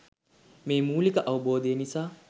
මේ මූලික අවබෝධය නිසා